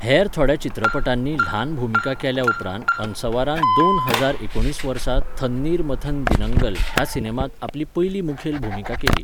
हेर थोड्या चित्रपटांनी ल्हान भुमिका केल्या उपरांत अनसवारान दोन हजार एकुणीस वर्सा 'थन्नीर मथन दिनंगल' ह्या सिनेमांत आपली पयली मुखेल भुमिका केली.